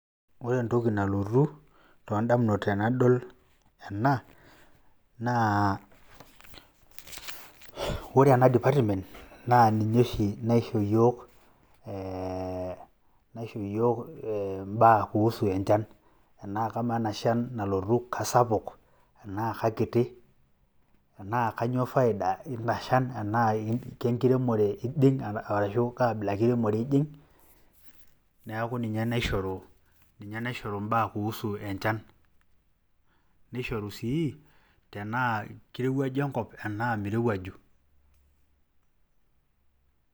ore entoki nalotu tooodamunot tenadol ena naa ore ena department naa ninye oshi naisho iyiook ee naiso iyiook obaa kuusu enchana, amaa ena shan kisapuk tenaa kaketi, enaa kainyioo faida, eina shan tenaa kenkiiremore ijing arashu kaabila enkiremore ijing'.neeku ninye naishoru, ninye naishoru ibaa kuusu encana, nishoru sii tenaa kirowuaju enkop tenaa mirowuaju.